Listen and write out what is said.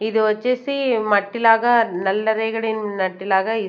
ఇది వచ్చేసి మట్టిలాగా నల్ల రేగడి నట్టిలాగా.